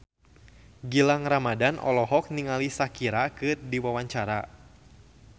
Gilang Ramadan olohok ningali Shakira keur diwawancara